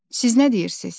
Siz nə deyirsiz?